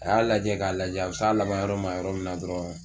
A y'a lajɛ k'a lajɛ a bi s'a laban yɔrɔ ma yɔrɔ min dɔrɔn